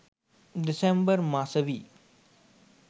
December මසවි